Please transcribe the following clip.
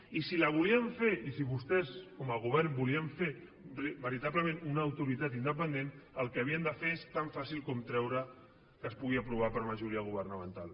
i si la volíem fer i si vostès com a govern volien fer veritablement una autoritat independent el que havien de fer és tan fàcil com treure que es pugui aprovar per majoria governamental